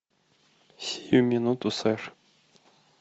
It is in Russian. сию минуту сэр